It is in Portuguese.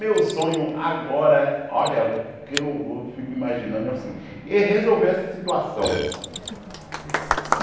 Meu sonho agora, olha, o que eu vou fico imaginando é o seguinte, é resolver essa situação.